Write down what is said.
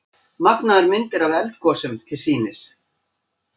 Magnaðar myndir af eldgosum til sýnis